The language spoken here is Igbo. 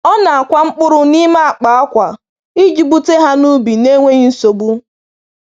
Ọ na-akwa mkpụrụ n’ime akpa akwa iji bute ha n’ubi n’enweghị nsogbu.